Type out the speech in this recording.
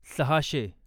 सहाशे